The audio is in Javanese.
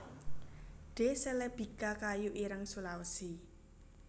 D celebica kayu ireng Sulawesi